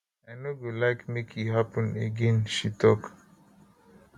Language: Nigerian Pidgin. i no go like make e happun again she tok